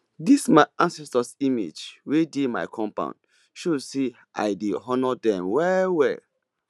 this my ancestors image wey dey my compound show say i dey honour dem well well